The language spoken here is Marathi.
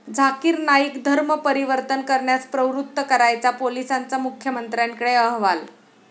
झाकिर नाईक धर्म परिवर्तन करण्यास प्रवृत्त करायचा, पोलिसांचा मुख्यमंत्र्यांकडे अहवाल